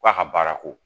Ko a ka baara ko